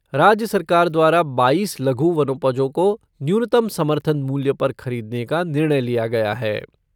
राज्य सरकार द्वारा बाईस लघु वनोपजों को न्यूनतम समर्थन मूल्य पर खरीदने का निर्णय लिया गया है।